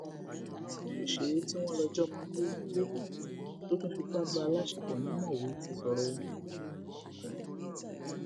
òṣèré tí wọn lọ jọmọ gbé gbé tó tún fipá bá a láṣepọ ni mọwé ti sọrọ o